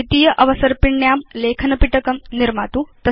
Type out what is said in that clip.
द्वितीय अवसर्पिण्यां लेखनपिटकं निर्मातु